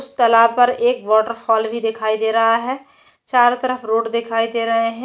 उस तालाब पर एक वॉटर फॉल भी दिखाई दे रहा है चारो तरफ रोड दिखाई दे रहे है।